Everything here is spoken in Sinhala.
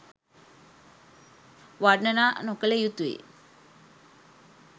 වර්ණනා නොකළ යුතුයි.